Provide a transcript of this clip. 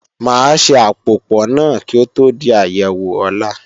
Máa ṣe àpòpò náà kí ó tó di àyẹ̀wò ọ̀la